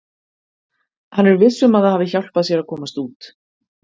Hann er viss um að það hafi hjálpað sér að komast út.